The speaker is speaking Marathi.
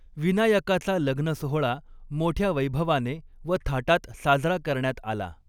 विनायकाचा लग्नसोहळा, मोठ्य़ा वैभवाने व थाटात साजरा करण्यात आला.